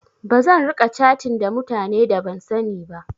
Bazan riƙa catin ta mutane da ban sani ba.